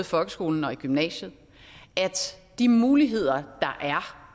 folkeskolen og i gymnasiet at de muligheder der er